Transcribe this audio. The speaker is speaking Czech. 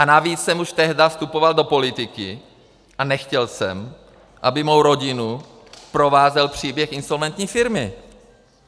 A navíc jsem už tehdy vstupoval do politiky a nechtěl jsem, aby mou rodinu provázel příběh insolventní firmy.